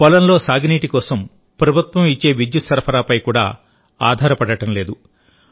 పొలంలో సాగునీటి కోసం ప్రభుత్వం ఇచ్చే విద్యుత్ సరఫరాపై కూడా ఆధారపడడం లేదు